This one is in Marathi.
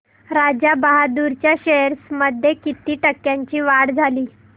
राजा बहादूर च्या शेअर्स मध्ये किती टक्क्यांची वाढ झाली